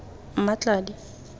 mmatladi